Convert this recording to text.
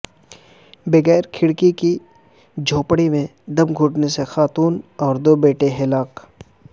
بغیر کھڑکی کی جھونپڑی میں دم گھٹنے سے خاتون اور دو بیٹے ہلاک